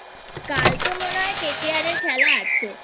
কাল তো মনে হয় KKR এর খেলা আছে